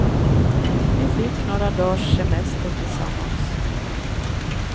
Vi fick några dagars semester tillsammans.